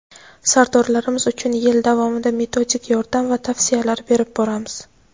sardorlarimiz uchun yil davomida metodik yordam va tavsiyalar berib boramiz.